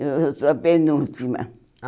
Eu eu sou a penúltima.